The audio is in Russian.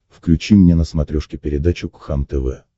включи мне на смотрешке передачу кхлм тв